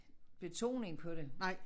Betoning på det